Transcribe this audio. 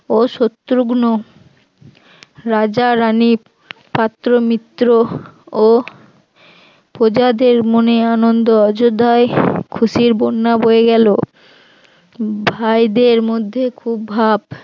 ও শত্রুগ্ন রাজারানীর পাত্র মিত্র ও প্রজাদের মনে আনন্দ অযোধ্যায় খুশির বন্যা বয়ে গেল ভাই দের মধ্যে খুব ভাব